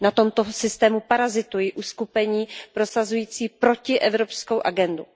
Na tomto systému parazitují uskupení prosazující protievropskou agendu.